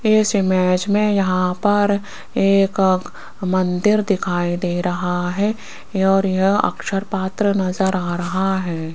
इस इमेज में यहां पर एक मंदिर दिखाई दे रहा है और यह अक्षर पत्र नजर आ रहा है।